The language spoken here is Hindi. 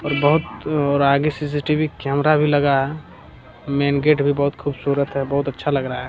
और बहुत और आगे सी.सी.टी.वी. कैमरा भी लगा है मैन गेट भी बहुत खूबसूरत है बहुत अच्छा लग रहा है।